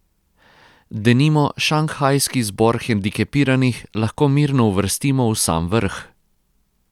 Denimo Šanghajski zbor hendikepiranih lahko mirno uvrstimo v sam vrh.